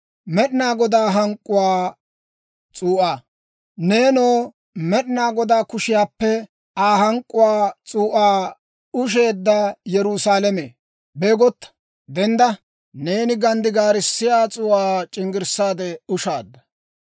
Neenoo, Med'inaa Godaa kushiyaappe Aa hank'k'uwaa s'uu'aa usheedda Yerusaalame, beegotta! Dendda! Neeni ganddigaarissiyaa s'uu'aa c'inggirssaade ushaadda.